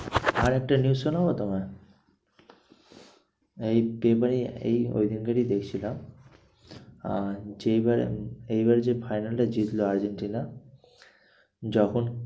আর একটা news শোনাবো তোমায়? এই paper এ এ ওই দিনকারই দেখছিলাম। আর যে বারে এই বারে যে final এ জিতলো আর্জেন্টিনা যখন